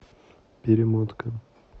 перемотка